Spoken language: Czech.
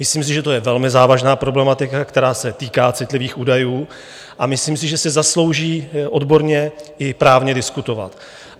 Myslím si, že je to velmi závažná problematika, která se týká citlivých údajů, a myslím si, že si zaslouží odborně i právně diskutovat.